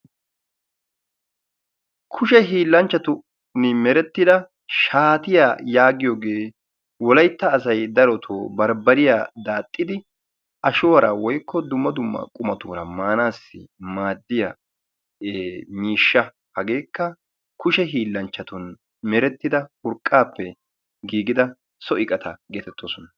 kushe hiilanchchatun merettida shaatiya yaagiyoogee wolaytta asay darotoo maanassi maadiya miishsha. ha kushe hiilanchchatun merettida urqaapaappe giigida so iqata geetetosona.